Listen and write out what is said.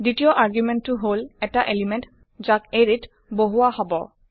second argument হল এটা element যাক এৰে ত বহুৱা হব